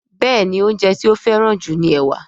Béèni oúnjẹ ti o feran ju ní ẹwà.